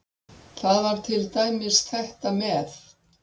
Það var til dæmis þetta með